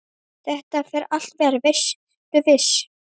Þetta fer allt vel, vertu viss!